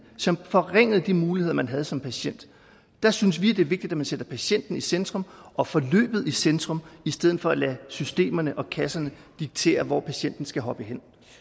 som forringede de muligheder man havde som patient der synes vi at det er vigtigt at man sætter patienten i centrum og forløbet i centrum i stedet for at lade systemerne og kasserne diktere hvor patienten skal hoppe hen